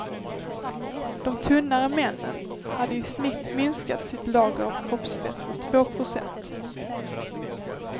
De tunnare männen hade i snitt minskat sitt lager av kroppsfett med två procent.